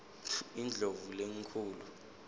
indlovulenkhulu